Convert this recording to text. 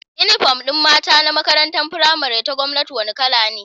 Inufom din mata na makarantar pramari ta gwamnati wani kala ne